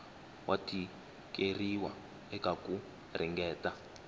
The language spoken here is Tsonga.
wa tikeriwa eka ku ringeta